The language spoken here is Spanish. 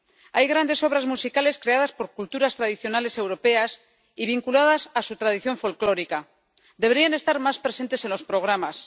Hay grandes obras musicales creadas por culturas tradicionales europeas y vinculadas a su tradición folclórica deberían estar más presentes en los programas.